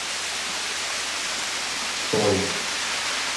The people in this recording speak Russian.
цой